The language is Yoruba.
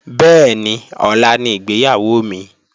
Bẹ́ẹ̀ni, ọ̀la ni ìgbéyàwó mi